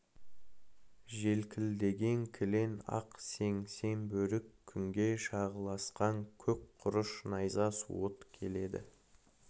желкілдеген кілең ақ сең сең бөрік күнге шағылысқан көк құрыш найза суыт келеді